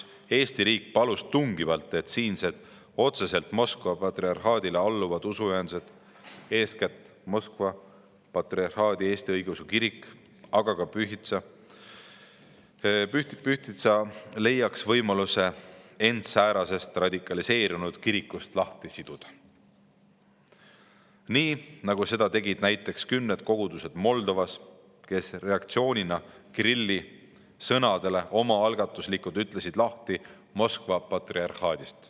Eesti riik palus tungivalt, et siinsed otseselt Moskva patriarhaadile alluvad usuühendused, eeskätt Moskva Patriarhaadi Eesti Õigeusu Kirik, aga ka Pühtitsa klooster, leiaksid võimaluse end säärasest radikaliseerunud kirikust lahti siduda – nii nagu seda tegid näiteks kümned kogudused Moldovas, kes reaktsioonina Kirilli sõnadele omaalgatuslikult ütlesid lahti Moskva patriarhaadist.